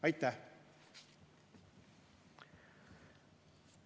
Aitäh!